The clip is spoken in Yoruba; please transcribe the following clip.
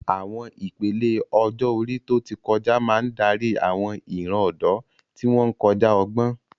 Àwọn ìpele ọjọ́ orí tó ti kọjá máa ń darí àwọn ìran ọ̀dọ́, tí wọ́n ń kọjá ọgbọ́n.